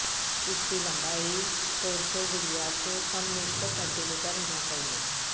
اس کی لمبائی ٹورسو گڑیا سے کم نصف سینٹی میٹر ہونا چاہئے